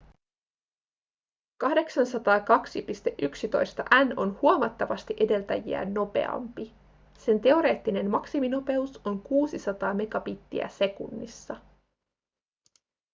802.11n on huomattavasti edeltäjiään nopeampi sen teoreettinen maksiminopeus on 600 megabittiä sekunnissa